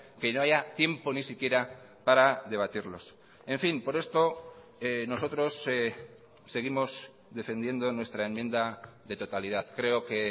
que no haya tiempo ni siquiera para debatirlos en fin por esto nosotros seguimos defendiendo nuestra enmienda de totalidad creo que